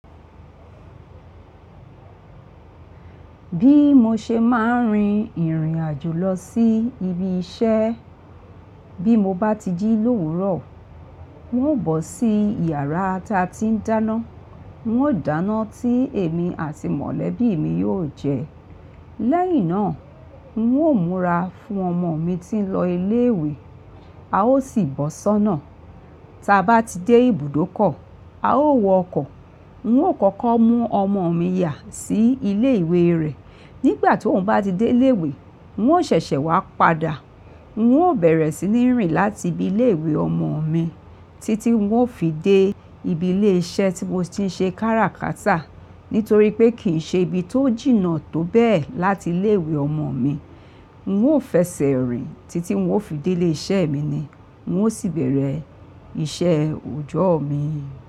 Bí mo ṣe máa ń rin ìrìn àjò lọ sí ibi iṣẹ́, bí mo bá ti jí lówùrọ̀, n ó bọ́ sí iyàrá ta ti ń dáná. N ó dáná tí èmi àti mọ̀lẹ́bí mi yóò jẹ. Lẹ́yìn náà, n ó múra fún ọmọo mi tí ń lọ ilé ìwé, a ó sì bọ́ sọ́nà. Ta bá ti dé ibùdókọ̀, a ó wọ ọkọ̀. N N ó kọ́kọ́ mú ọmọ mi yà sí ilé ìwé rẹ̀. Nígbà tí òun bá ti dé ilé ìwé, n ó ṣẹ̀ṣẹ̀ wá padà. N ó bẹ̀rẹ̀ sí ní rìn láti ibi ilé ìwé ọmọo mi títí n ó fi dé ibi ilé iṣẹ́ tí mo ti ń ṣe kára kátà. Nítorí pé kì ń ṣe ibi tó jìnnà tó bẹ́ẹ̀ láti ilé ìwé ọmọ mi, n ó fẹsẹ̀ rìn títí n ó fi dé ilé iṣẹ́ mi ni, n ó sì bẹ̀rẹ̀ iṣẹ́ òjọ́o mi.